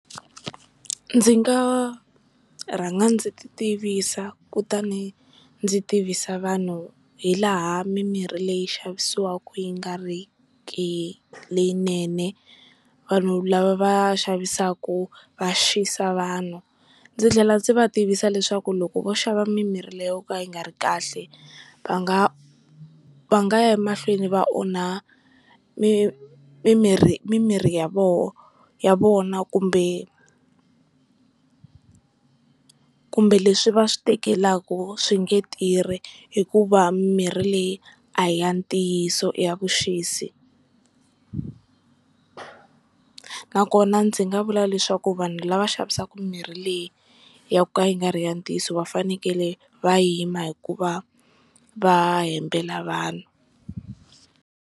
Ndzi nga rhanga ndzi titivisa kutani ndzi tivisa vanhu hi laha mimirhi leyi xavisiwaka yi nga riki leyinene vanhu lava va xavisaka va xisa vanhu, ndzi tlhela ndzi va tivisa leswaku loko vo xava mimirhi leyi yo ka yi nga ri kahle va nga va nga ya emahlweni va onha mimirhi mimirhi ya vona kumbe, kumbe leswi va swi tekelaka swi nge tirhi hikuva mimirhi leyi a hi ya ntiyiso i ya vuxisi nakona ndzi nga vula leswaku vanhu lava xavisaka mimirhi leyi yo ka yi nga ri ya ntiyiso va fanekele va yima hikuva va hembela vanhu.